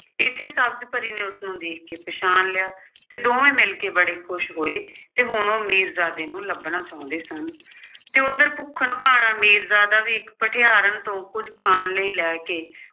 ਇਸੇ ਸਬਜ਼ ਪਰੀ ਨੇ ਉਸਨੂੰ ਦੇਖ ਕੇ ਪਛਾਣ ਲਿਆ ਤੇ ਦੋਵੇਂ ਮਿਲ ਕੇ ਬੜੇ ਖੁਸ਼ ਹੋਏ ਤੇ ਹੁਣ ਉਹ ਮੀਰਜ਼ਾਦੇ ਨੂੰ ਲੱਭਣਾ ਚਾਹੁੰਦੇ ਸਨ ਤੇ ਉੱਧਰ ਭੁੱਖਣ-ਭਾਣਾ ਮੀਰਜ਼ਾਦਾ ਵੀ ਇੱਕ ਭਠਿਆਰਨ ਤੋਂ ਕੁੱਝ ਖਾਣ ਲਈ ਲੈ ਕੇ